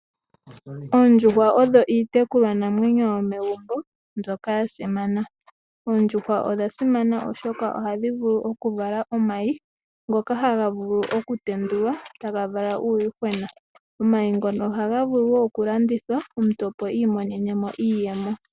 Oondjuhwa odho iitekulwanamwenyo yomegumbo mbyoka yasimana. Oondjuhwa odha simana oshoka ohadhi vulu okuvala omayi, ngoka haga vulu okutendulwa, e taga vala uuyuhwena. Omayi ngono ohaga vulu okulandithwa omuntu opo iimonene mo iiyemo.